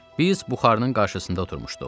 Biz buxarının qarşısında oturmuşduq.